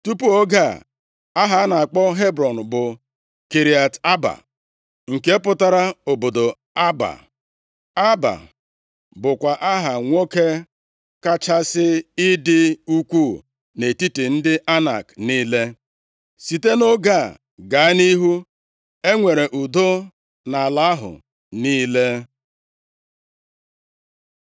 Tupu oge a, aha a na-akpọ Hebrọn bụ Kiriat Aaba, nke pụtara Obodo Aaba. Aaba bụkwa aha nwoke kachasị ịdị ukwuu nʼetiti ndị Anak niile. Site nʼoge a gaa nʼihu, e nwere udo nʼala ahụ niile.